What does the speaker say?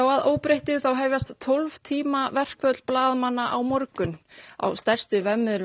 að óbreyttu hefjast tólf tíma verkföll á morgun á stærstu miðlum